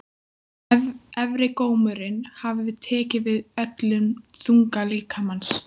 Efri gómurinn hafði tekið við öllum þunga líkamans.